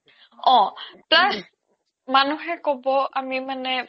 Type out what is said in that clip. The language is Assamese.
অ plus মানুহে ক্'ব আমি মানে